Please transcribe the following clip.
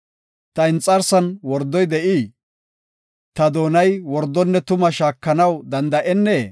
Ta inxarsan wordoy de7ii? Ta doonay wordonne tumaa shaakanaw danda7ennee?”